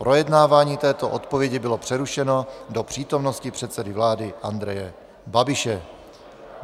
Projednávání této odpovědi bylo přerušeno do přítomnosti předsedy vlády Andreje Babiše.